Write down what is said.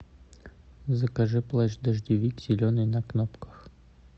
закажи плащ дождевик зеленый на кнопках